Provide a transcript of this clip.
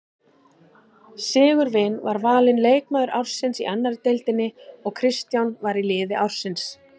Sigurvin var valinn leikmaður ársins í annarri deildinni og Kristján var í liði ársins.